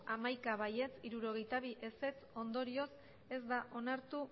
hamaika ez hirurogeita bi zuri bi ondorioz ez da onartu